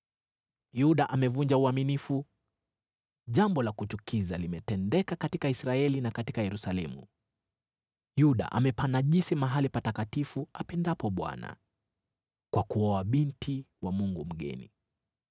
Yuda amevunja uaminifu. Jambo la kuchukiza limetendeka katika Israeli na katika Yerusalemu: Yuda amepanajisi mahali patakatifu apendapo Bwana , kwa kuoa binti wa mungu mgeni.